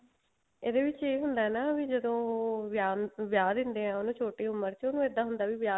ਇਹਦੇ ਵਿੱਚ ਇਹ ਹੁੰਦਾ ਨਾ ਵੀ ਜਦੋਂ ਵਿਆਹ ਵਿਆਹ ਦਿੰਦੇ ਆ ਉਹਨੂੰ ਛੋਟੀ ਉਮਰ ਚ ਉਹਨੂੰ ਇੱਦਾਂ ਹੁੰਦਾ ਵੀ